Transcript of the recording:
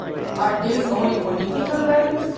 Are these only political values?